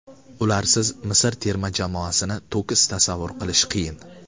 Ularsiz Misr terma jamoasini to‘kis tasavvur qilish qiyin.